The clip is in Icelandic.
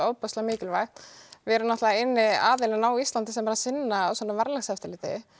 ofboðslega mikilvægt við erum náttúrulega eini aðilinn á Íslandi sem er að sinna svona verðlagseftirliti